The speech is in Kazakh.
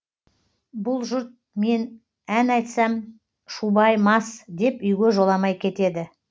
бұл жұрт мен ән айтсам шубай мас деп үйге жоламай кетеді